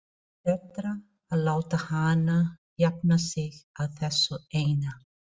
Betra að láta hana jafna sig á þessu eina.